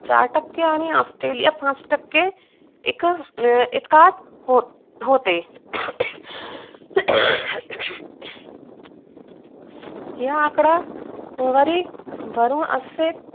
चार टक्के आणि ऑस्ट्रेलीया पाच टक्के एकात होते हा एकदा सुमारे असेच